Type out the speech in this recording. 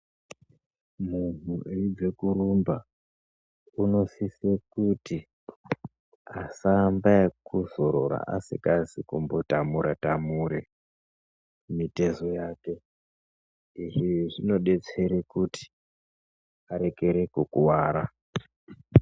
Munhu eibva korumba unosiswa kuti asaamba nekuzorora asizi kumbotamure tamure mitezo yake izvi zvinodetsera kuti arekere kukuwara.